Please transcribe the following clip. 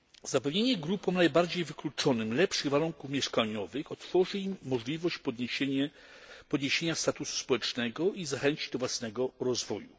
Zapewnienie grupom najbardziej wykluczonym lepszych warunków mieszkaniowych otworzy im możliwość podniesienia statusu społecznego i zachęci do własnego rozwoju.